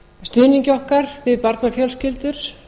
stuðningi okkar við barnafjölskyldur